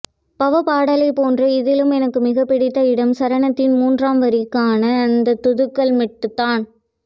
பவா பாடலைப்போன்றே இதிலும் எனக்கு மிகப்பிடித்த இடம் சரணத்தின் மூன்றாம் வரிக்கான அந்தத்தூக்கல் மெட்டுத்தான்